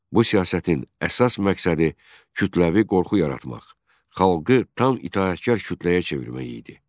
Bu siyasətin əsas məqsədi kütləvi qorxu yaratmaq, xalqı tam itaətkar kütləyə çevirmək idi.